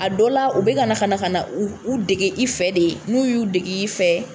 A dɔ la u bɛka na ka na ka na u u dege i fɛ de n'u y'u dege i fɛ